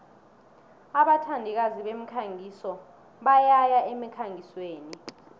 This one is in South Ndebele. abathandikazi bemikhangiso bayaya emkhangisweni